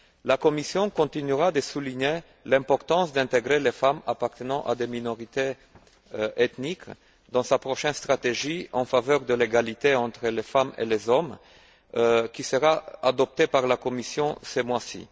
La Commission continuera de souligner l'importance d'intégrer les femmes appartenant à des minorités ethniques dans sa prochaine stratégie en faveur de l'égalité entre les femmes et les hommes, qui sera adoptée par la Commission ce mois ci.